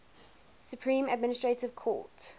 supreme administrative court